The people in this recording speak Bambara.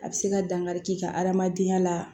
A bɛ se ka dankari k'i ka hadamadenya la